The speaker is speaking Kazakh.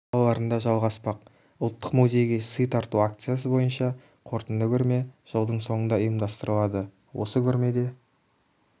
қалаларында жалғаспақ ұлттық музейге сый тарту акциясы бойынша қорытынды көрме жылдың соңында ұйымдастырылады осы көрмеде